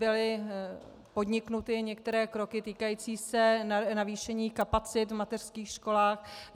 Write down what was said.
Byly podniknuty některé kroky týkající se navýšení kapacit v mateřských školách.